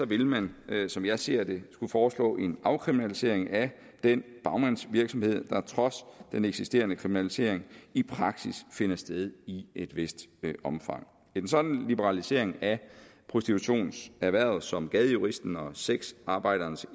vil man som jeg ser det skulle foreslå en afkriminalisering af den bagmandsvirksomhed der trods den eksisterende kriminalisering i praksis finder sted i et vist omfang en sådan liberalisering af prostitutionserhvervet som gadejuristen og sexarbejdernes